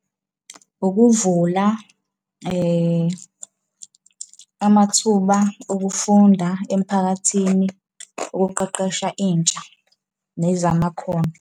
Ukuvula amathuba okufunda emphakathini ukuqeqesha intsha nezamakhono.